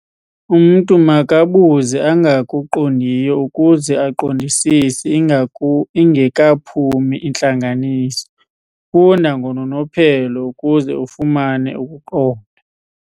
Umntu makabuze angakuqondiyo ukuze aqondisise ingekaphumi intlanganiso. funda ngononophelo ukuze ufumane ukuqonda